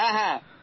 হ্যাঁ